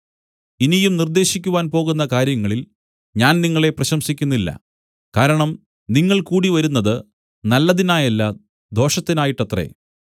ഇനിയും നിർദ്ദേശിക്കുവാൻ പോകുന്ന കാര്യങ്ങളിൽ ഞാൻ നിങ്ങളെ പ്രശംസിക്കുന്നില്ല കാരണം നിങ്ങൾ കൂടിവരുന്നത് നല്ലതിനായല്ല ദോഷത്തിനായിട്ടത്രേ